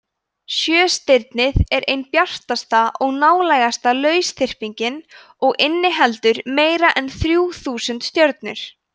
sjöstirnið er ein bjartasta og nálægasta lausþyrpingin og inniheldur meira en þrjú þúsund stjörnur